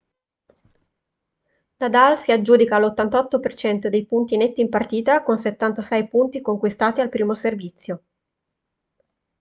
nadal si aggiudica l'88% dei punti netti in partita con 76 punti conquistati al primo servizio